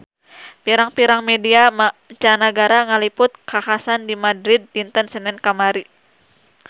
Pirang-pirang media mancanagara ngaliput kakhasan di Madrid dinten Senen kamari